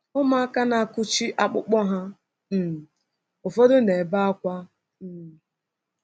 Ụmụaka na-akụchi akpụkpọ ha, um ụfọdụ na-ebe ákwá. um